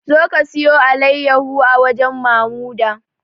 Zo ki sayi alayyaho a wajen Mamuda!